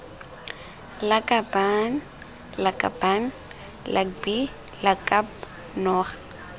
lakabaaan lakaban lakbi lakab noga